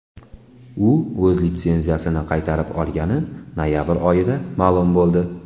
U o‘z litsenziyasini qaytarib olgani noyabr oyida ma’lum bo‘ldi .